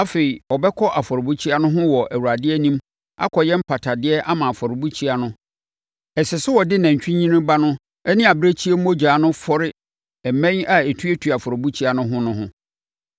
“Afei, ɔbɛkɔ afɔrebukyia no ho wɔ Awurade anim akɔyɛ mpatadeɛ ama afɔrebukyia no. Ɛsɛ sɛ ɔde nantwinini ba no ne abirekyie mogya no fɔre mmɛn a ɛtuatua afɔrebukyia no ho no ho,